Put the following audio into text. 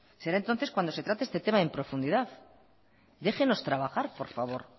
será entonces cuando se trate este tema en profundidad déjenos trabajar por favor